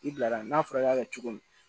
I bilara n'a fɔra i y'a kɛ cogo min